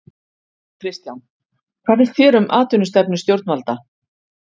Kristján: Hvað finnst þér um atvinnustefnu stjórnvalda?